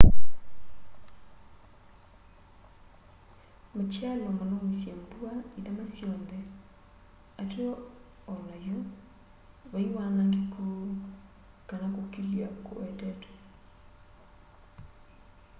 matialyo manaumisye mbua ithama syonthe ateo o nayu vai wanangiku kana kukilya kuwetetwe